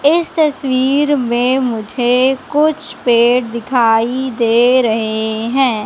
इस तस्वीर में मुझे कुछ पेड़ दिखाई दे रहे है।